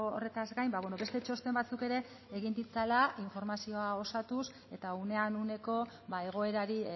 horretaz gain beste txosten batzuk ere egin ditzala informazioa osatuz eta unean uneko egoerari